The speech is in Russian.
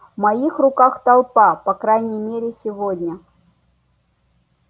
в моих руках толпа по крайней мере сегодня